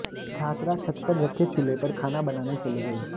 छात्रा छत पर रखे चूल्हे पर खाना बनाने चली गई